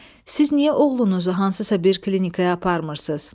Siz niyə oğlunuzu hansısa bir klinikaya aparmırsız?